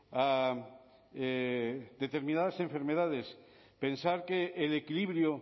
a determinadas enfermedades pensar que el equilibrio